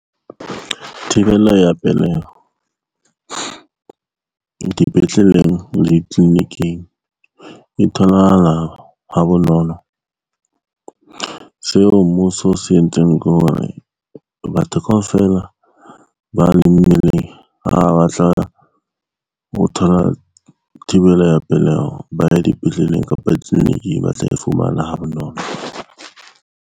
Thibelo ya peleho dipetleleng le di-clinic-ing e tholahala ha bonolo. Seo mmuso o se entseng ke hore batho kaofela ba le mmeleng, ho thola thibelo ya peleho ba ye dipetleleng kapa di-clinic-ing ba tla e fumana ha bonolo.